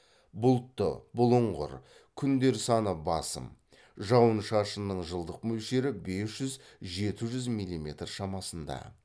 бұлтты бұлыңғыр күндер саны басым жауын шашынның жылдық мөлшері бес жүз жеті жүз милиметр шамасында